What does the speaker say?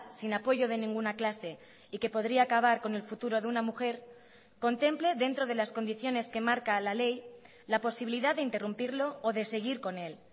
sin apoyo de ninguna clase y que podría acabar con el futuro de una mujer contemple dentro de las condiciones que marca la ley la posibilidad de interrumpirlo o de seguir con él